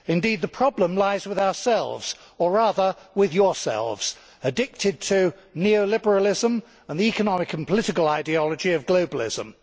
Indeed, the problem lies with ourselves, or rather with yourselves addicted to neo liberalism and the economic and political ideology of globalism.